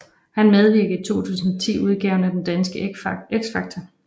Han medvirkede i 2010 udgaven af det danske X Factor